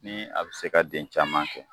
Ni a bɛ se ka den caman kɛ